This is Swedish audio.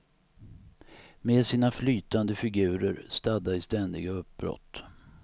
Med sina flytande figurer stadda i ständiga uppbrott.